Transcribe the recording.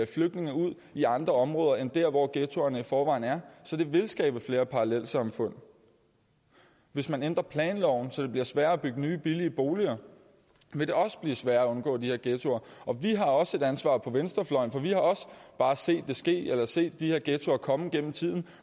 flygtninge ud i andre områder end der hvor ghettoerne i forvejen er så det vil skabe flere parallelsamfund hvis man ændrer planloven så det bliver sværere at bygge nye billige boliger vil det også blive sværere at undgå de her ghettoer og vi har også et ansvar på venstrefløjen for vi har også bare set det ske eller set de her ghettoer komme gennem tiden